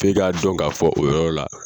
F'e ka dɔn ka fɔ o yɔrɔ la